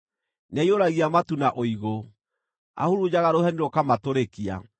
Nĩaiyũragia matu na ũigũ; ahurunjaga rũheni rũkamatũrĩkia.